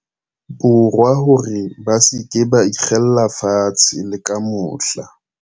Borwa hore ba se ke ba ikgella fatshe le ka mohla.